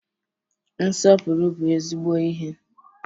Nsọpụrụ bụ ezigbo ihe.